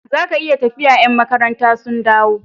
Zaka iya tafiya ya'n makaranta sun dawo